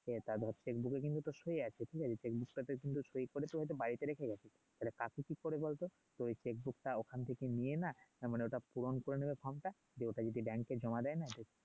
সে তা ধর এ কিন্তু তোর সই আছে ঠিক আছে বইতে কিন্তু সই করে কিন্তু বাড়ীতে রেখে গেছে তাহলে কাজটি ঠিক করে বল তো টা ওখান থেকে নিয়ে না তার মানে ওটা পূরন করে নিবে সবটা ওটা যদি এ জমা দেয় না